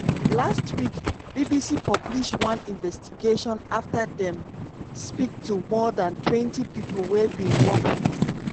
last week bbc publish one investigation afta dem speak to more dan twenty pipo wey bin work wit